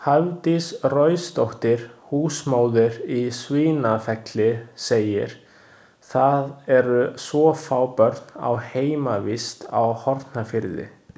Hafdís Roysdóttir, húsmóðir í Svínafelli, segir: „Það eru svo fá börn á heimavist á Hornafirði“.